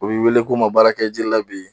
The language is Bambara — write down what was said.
U b'i weele k'u ma baara kɛ ji la bi.